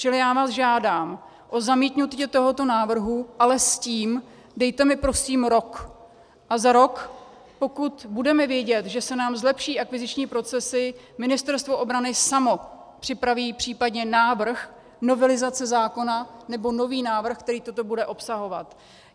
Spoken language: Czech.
Čili já vás žádám o zamítnutí tohoto návrhu, ale s tím, dejte mi prosím rok a za rok, pokud budeme vědět, že se nám zlepší akviziční procesy, Ministerstvo obrany samo připraví případně návrh novelizace zákona nebo nový návrh, který toto bude obsahovat.